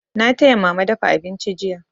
Na taya mama dafa abinci jiya.